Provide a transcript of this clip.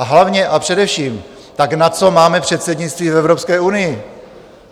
A hlavně a především, tak na co máme předsednictví v Evropské unii?